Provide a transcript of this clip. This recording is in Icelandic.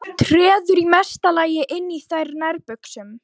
Treður í mesta lagi inn í þær nærbuxum.